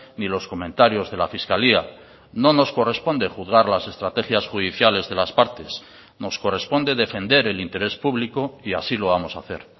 ni los comentarios de la fiscalía no nos corresponde juzgar las estrategias judiciales de las partes nos corresponde defender el interés público y así lo vamos a hacer